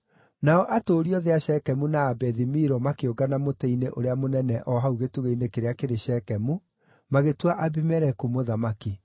Nao atũũri othe a Shekemu na a Bethi-Milo makĩũngana mũtĩ-inĩ ũrĩa mũnene o hau gĩtugĩ-inĩ kĩrĩa kĩrĩ Shekemu, magĩtua Abimeleku mũthamaki.